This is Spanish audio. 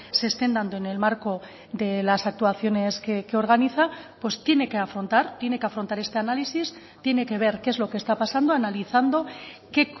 se estén dando en el marco de las actuaciones que organiza pues tiene que afrontar tiene que afrontar este análisis tiene que ver qué es lo que está pasando analizando qué